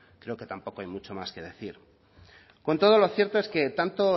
creo que tampoco hay mucho más que decir con todo lo cierto es que tanto